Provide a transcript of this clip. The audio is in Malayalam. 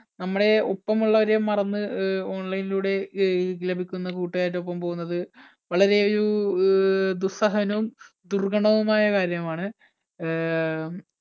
നമ്മുടെ ഒപ്പമുള്ളവരെ മറന്നു അഹ് online ലൂടെ ലഭിക്കുന്ന കൂട്ടുകാരുടെ ഒപ്പം പോകുന്നത് വളരെ ഒരു ദുസ്സഹനവും ദുർഗണകരവുമായ കാര്യമാണ്. അഹ്